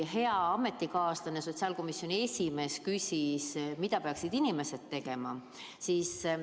Hea ametikaaslane, sotsiaalkomisjoni esimees, küsis, mida peaksid inimesed tegema.